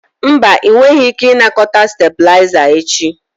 Mba, ị nweghị ike ịnakọta stabilizer echi.